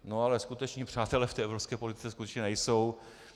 No ale skuteční přátelé v té evropské politice skutečně nejsou.